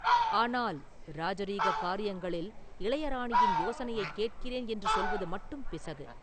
ஆனால் ராஜரீக காரியங்களில் இளையராணியின் யோசனையைக் கேட்கிறேன் என்று சொல்வது மட்டும் பிசகு.